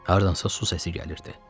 Hardansa su səsi gəlirdi.